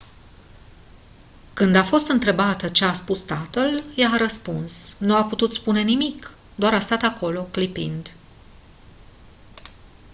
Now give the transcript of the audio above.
când a fost întrebată ce a spus tatăl ea a răspuns «nu a putut spune nimic - doar a stat acolo clipind».